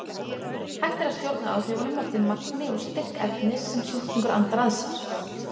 Hægt er að stjórna áhrifunum eftir magni og styrk efnis sem sjúklingur andar að sér.